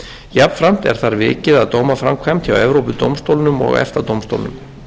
jafnframt er þar vikið að dómaframkvæmd hjá evrópudómstólnum og efta dómstólnum